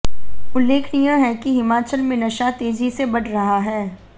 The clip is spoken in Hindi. उल्लेखनीय है कि हिमाचल में नशा तेजी से बढ़ रहा है